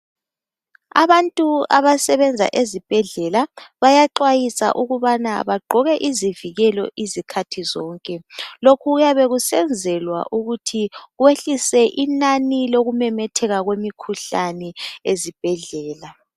Abantu abasebenza ezibhedlela bayaxwayiswa ukubana bagqoke izivikelo izikhathi zonke. Lokhu kuyabe kusenzelwa ukuthi kwehlise inani lemikhuhlane ememetheka ezibhedlela.